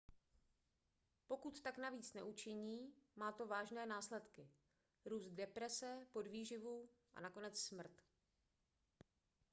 pokud tak navíc neučiní má to vážné následky růst deprese podvýživu a nakonec smrt